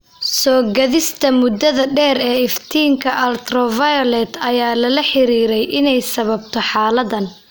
Soo-gaadhista muddada dheer ee iftiinka ultraviolet ayaa lala xiriiriyay inay sababto xaaladdan.